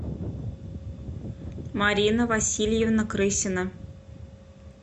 марина васильевна крысина